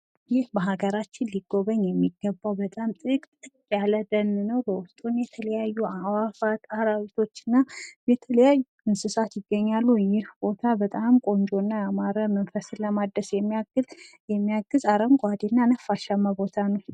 ይህ በሀገራችን ሊጎበኝ የሚገባ በጣም ጥቅጥቅ ያለ ደን ነው። በውስጡም የተለያዩ አዕዋፋት አራዊቶችና የተለያዩ እንስሳት ይገኛሉ። ይህ ቦታ በጣም ቆንጆና ያማረ መንፈስን ለማደስ የሚያግዝ አረንጓዴ እና ነፋሻማ ቦታ ነው።